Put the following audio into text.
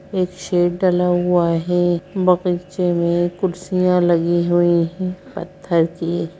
एक शेड डला हुआ है बगीचे में कुर्सियाँ लगी हुई हैं पत्थर की।